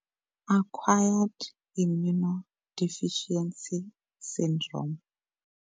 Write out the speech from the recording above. Acquired Immune Deficiency Syndrome.